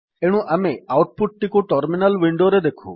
ଏଣୁ ଆମେ output ଟିକୁ ଟର୍ମିନାଲ୍ ୱିଣ୍ଡୋରେ ଦେଖୁ